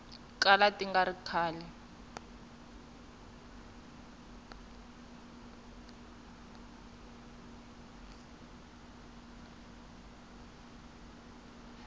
kala ti nga ri kahle